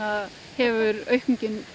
hefur aukningin